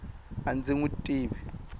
a ndzi n wi tivi